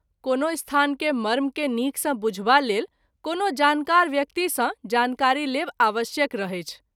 कोनो स्थान के मर्म के नीक सँ बुझबा लेल कोनो जानकार व्यक्ति सँ जानकारी लेब आवश्यक रहैछ।